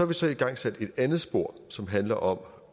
vi så igangsat et andet spor som handler om